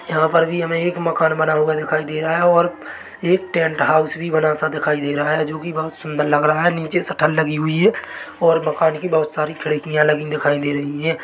यहाँ पर भी हमे एक मकान बना हुआ दिखाई दे रहा है और एक टेंट हाउस भी बना सा दिखाई दे रहा है जो की बहुत सुंदर लग रहा है नीचे शटर लगी हुई है और मकान की बहुत सारी खिड़कियां लगी दिखाई दे रही है ।